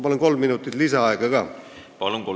Palun kolm minutit lisaaega ka!